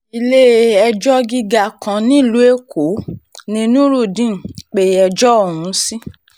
ilé-ẹjọ́ gíga kan nílùú èkó ní nurudeen pe ẹjọ́ ọ̀hún sí